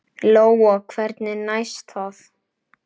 Lóa: Hvernig næst það?